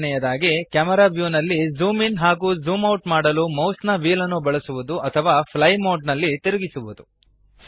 ಎರಡನೆಯದಾಗಿ ಕ್ಯಾಮೆರಾ ವ್ಯೂನಲ್ಲಿ zoom in ಹಾಗೂ ಝೂಮ್ ಔಟ್ ಮಾಡಲು ಮೌಸ್ನ ವ್ಹೀಲ್ಅನ್ನು ಬಳಸುವದು ಅಥವಾ ಫ್ಲೈ ಮೋಡ್ ನಲ್ಲಿ ತಿರುಗಿಸುವದು